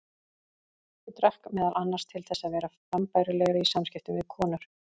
Ég drakk meðal annars til þess að vera frambærilegri í samskiptum við konur.